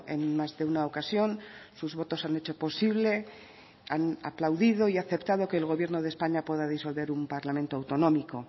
en más de una ocasión sus votos han hecho posible han aplaudido y aceptado que el gobierno de españa pueda disolver un parlamento autonómico